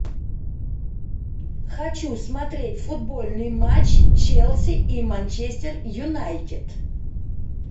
хочу смотреть футбольный матч челси и манчестер юнайтед